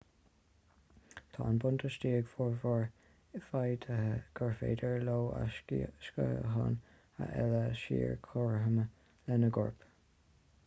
tá an buntáiste ag formhór feithidí gur féidir leo a sciatháin a fhilleadh siar cothrom lena gcoirp